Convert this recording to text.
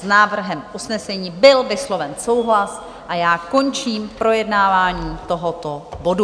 S návrhem usnesení byl vysloven souhlas a já končím projednávání tohoto bodu.